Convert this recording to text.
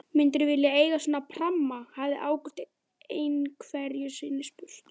Myndirðu vilja eiga svona pramma? hafði Ágúst einhverju sinni spurt.